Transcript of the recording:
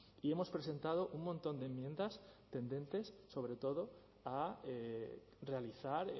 y hemos presentado un montón de enmiendas tendentes sobre todo a realizar